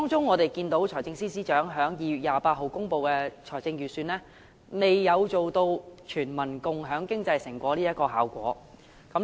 我們見到財政司司長在2月28日公布的預算案，並未達致全民共享經濟成果的效果。